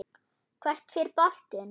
Hvert fer boltinn?